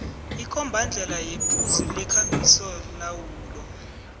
ikombandlela yephuzu lekambisolawulo